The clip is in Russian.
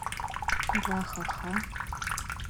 вахаха